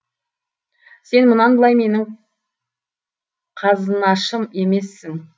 сен мұнан былай менің қазынашым емессің